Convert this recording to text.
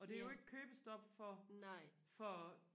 og det er jo ikke købestop for for